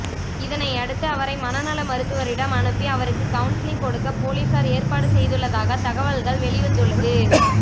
இதனை அடுத்து அவரை மனநல மருத்துவரிடம் அனுப்பி அவருக்கு கவுன்சிலிங் கொடுக்க போலீசார் ஏற்பாடு செய்துள்ளதாக தகவல்கள் வெளிவந்துள்ளது